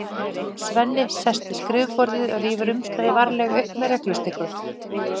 Svenni sest við skrifborðið og rífur umslagið varlega upp með reglustiku.